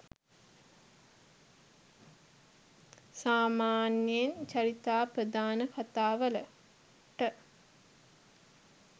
සාමාන්‍යයෙන් චරිතාපදාන කතා වලට